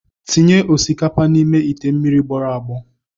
Tinye osikapa n'ime ite mmiri gbọrọ agbọ.